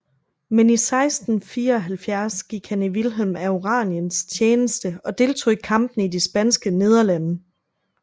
Men i 1674 gik han i Vilhelm af Oraniens tjeneste og deltog i kampene i de Spanske Nederlande